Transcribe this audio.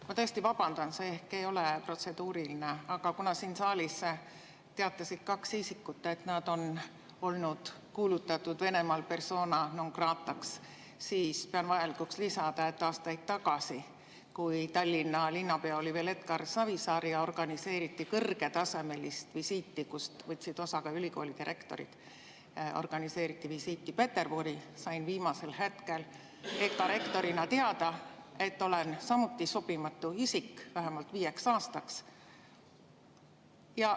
Ma tõesti vabandan, see ehk ei ole protseduuriline, aga kuna siin saalis teatasid kaks isikut, et nad on kuulutatud Venemaal persona non grata'ks, siis pean vajalikuks lisada, et aastaid tagasi, kui Tallinna linnapea oli veel Edgar Savisaar ja organiseeriti kõrgetasemelist visiiti Peterburi, kust võtsid osa ka ülikoolide rektorid, siis sain ma viimasel hetkel EKA rektorina teada, et olen samuti sobimatu isik vähemalt viieks aastaks.